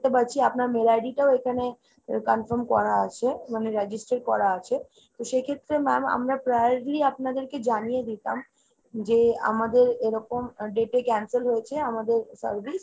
দেখতে পাচ্ছি আপনার mail id টাও এখানে confirm করা আছে মানে register করা আছে। তো সেক্ষেত্রে ma'am আমরা priority আপনাদেরকে জানিয়ে দিতাম, যে আমাদের এরকম date এ cancel হয়েছে আমাদের service।